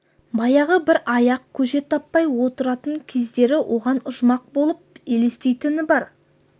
баяғы бір аяқ көже таппай отыратын кездері оған ұжмақ болып елестейтіні бар